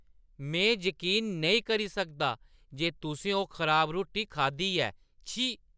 मिगी जकीन नेईं करी सकदा जे तुसें ओह् खराब रुट्टी खाद्धी ऐ। छी!